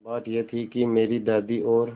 बात यह थी कि मेरी दादी और